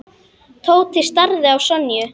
Tóti starði á Sonju.